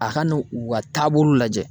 A ka n'u ka taabolow lajɛ.